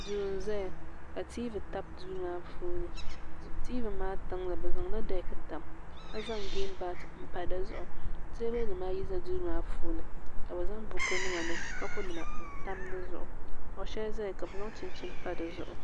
duu n ʒɛya ka tiivi tabi duu maa puuni tiivi maa tiŋli bi zaŋla dɛk tam ka zaŋ geem baat n pa dizuɣu teebuli nim ayi bɛ Duu maa puuni ka bi zaŋ buku nima ni kapu nima n tam dizuɣu kuɣu shɛli ʒɛya ka bi zaŋ chinchin pa dizuɣu